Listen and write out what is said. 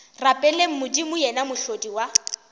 rapeleng modimo yena mohlodi wa